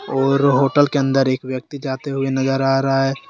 और होटल के अंदर एक व्यक्ति जाते हुए नजर आ रहा है।